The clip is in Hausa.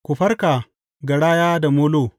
Ku farka, garaya da molo!